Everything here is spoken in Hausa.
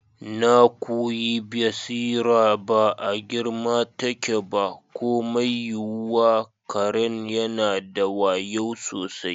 Na kuwi basira ba a girma take ba ko mai yiwuwa, karen yana da wayu sosai.